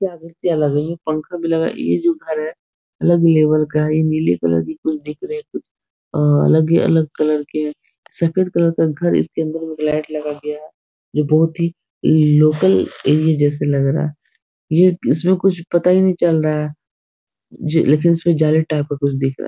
क्या भूतिया घर है ये पंखा भी लगा है ये जो घर है अलग ही लेवल का है ई नीले कलर की कुछ दिख रही है कुछ अ अलग ही अलग कलर के हैं सफ़ेद कलर का घर है इसके अंदर में एक लाइट लगा गया है जो बहुत ही लोकल एरिये जैसे लग रहा है ये इसमें कुछ पता ही नहीं चल रहा है जे लेकिन इसमें कुछ जाली टाइप का कुछ दिख रहा है |